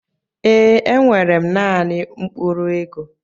Ee enwere m naanị mkpụrụ ego.